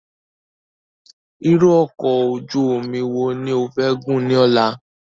Irú ọkọ̀ ojú omi wo ni ofẹ́ gùn ní ọ̀la?